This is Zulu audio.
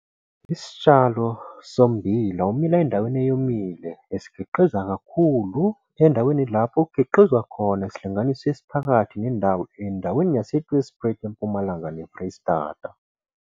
Photo 2- Isitshalo sommbila omila endaweni eyomile esikhiqiza kakhulu endaweni lao kukhiqizwa khona isilainganiso esiphakathi nendawo endaweni yaseTweespruit eMpumalanga neFreyistata.